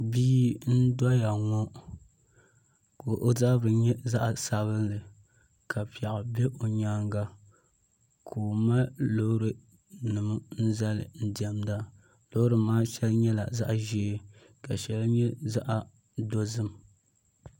Bia n doya ŋɔ ka o zabiri yɛ zaɣi sabinli ka piɛɣu bɛ o yɛanga ka o mali loori nima n zali n diɛmda loori maa shɛli nyɛla zaɣi zɛɛ ka shɛli yɛ zaɣi dozim.